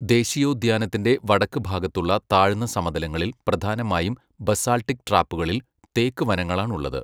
ദേശീയോദ്യാനത്തിൻ്റെ വടക്കുഭാഗത്തുള്ള താഴ്ന്ന സമതലങ്ങളിൽ, പ്രധാനമായും ബസാൾട്ടിക് ട്രാപ്പുകളിൽ തേക്ക് വനങ്ങളാണുള്ളത്.